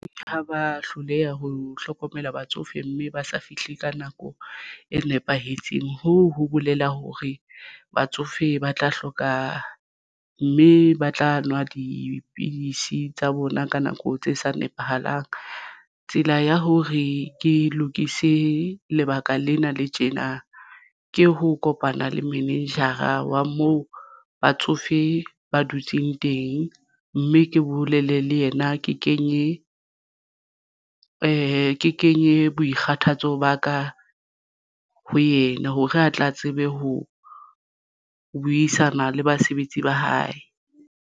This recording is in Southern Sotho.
Ha ba hloleha ho hlokomela batsofe mme ba sa fihle ka nako e nepahetseng hoo ho bolela hore batsofe ba tla hloka mme ba tla nwa dipidisi tsa bona ka nako tse sa nepahalang. Tsela ya hore ke lokise lebaka lena le tjena ke ho kopana le manager-a wa moo batsofe ba dutseng teng mme ke bolele le yena ke kenye boikgathatso ba ka ho yena hore a tla tsebe ho buisana le basebetsi ba hae.